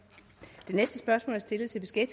skal